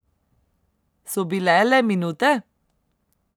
So bile le minute?